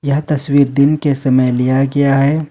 यह तस्वीर दिन के समय लिया गया है।